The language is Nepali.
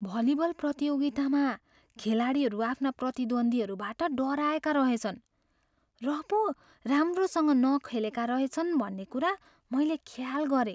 भलिबल प्रतियोगितामा खेलाडीहरू आफ्ना प्रतिद्वन्द्वीहरूबाट डराएका रहेछन् र पो राम्रोसँग नखेलेका रहेछन् भन्ने कुरा मैले ख्याल गरेँ।